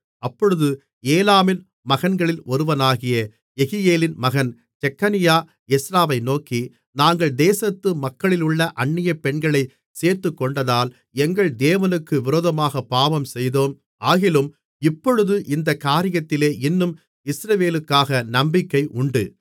அப்பொழுது ஏலாமின் மகன்களில் ஒருவனாகிய யெகியேலின் மகன் செக்கனியா எஸ்றாவை நோக்கி நாங்கள் தேசத்து மக்களிலுள்ள அந்நியப் பெண்களைச் சேர்த்துக்கொண்டதால் எங்கள் தேவனுக்கு விரோதமாகப் பாவம்செய்தோம் ஆகிலும் இப்பொழுது இந்தக் காரியத்திலே இன்னும் இஸ்ரவேலுக்காக நம்பிக்கை உண்டு